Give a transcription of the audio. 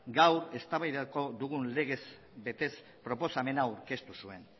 gaur eztabaidatuko dugun legez besteko proposamena aurkeztu zuen